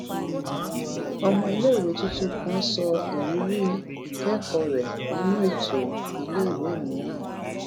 ọmọ iléèwé tuntun kan sọ ìrírí ìkékòó rè nínú ètò iléèwé mìíràn